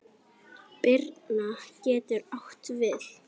Birna getur átt við